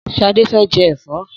Sadé fẹ́ jẹ ẹ̀fọ́.